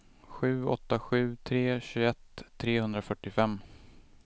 sju åtta sju tre tjugoett trehundrafyrtiofem